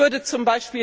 Mich würde z.